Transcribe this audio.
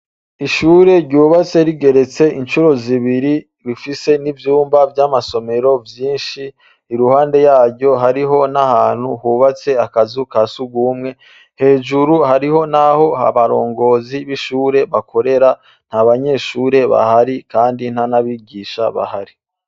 Ishure ryubatse rigeretse incuro zibiri, rifise n' ivyumba vy'amasomero vyinshi. Iruhande y'aryo hariho n'ahantu hubatse akazu ka surwumwe. Hejuru hariho n'aho abarongozi b'ishure bakorera. Nt'abanyeshure bahari ,kandi nta n'abigisha bahari.